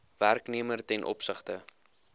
werknemer ten opsigte